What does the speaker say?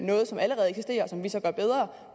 noget som allerede eksisterer som vi så gør bedre